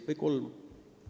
Või kolm?